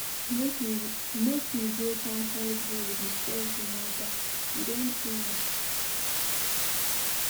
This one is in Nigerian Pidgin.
Make we go town hall go discuss the matter, e don too much.